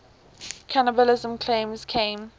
cannibalism claims came